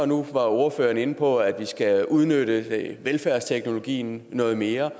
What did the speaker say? nu var ordføreren inde på at vi skal udnytte velfærdsteknologien noget mere